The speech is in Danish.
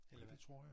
Ja det tror jeg